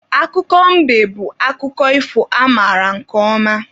Akụkọ mbe bụ akụkọ ifo amaara nke ọma.